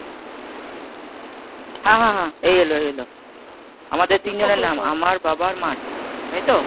হ্যাঁ হ্যাঁ এই এলো এই এলো আমাদের তিনজনের নাম আমার বাবার মার তাইতো?